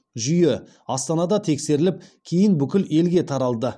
жүйе астанада тексеріліп кейін бүкіл елге таралды